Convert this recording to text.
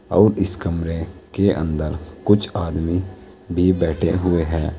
और इस कमरे के अंदर कुछ आदमी भी बैठे हुए हैं।